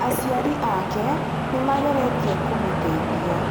Aciari ake nĩ mageretie kũmũteithia